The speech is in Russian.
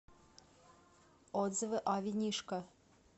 отзывы о винишко